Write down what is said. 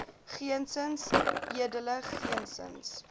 geensins edele geensins